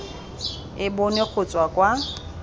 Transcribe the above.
e bonwe go tswa kwa